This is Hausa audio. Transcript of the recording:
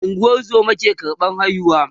ungozoma ke karɓan haihuwa